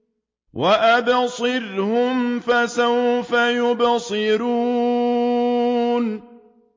وَأَبْصِرْهُمْ فَسَوْفَ يُبْصِرُونَ